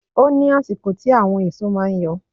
Ó ní àsìkò tí àwọn èso máa ń yọ.